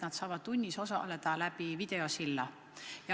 Nad saavad tunnis osaleda videosilla vahendusel.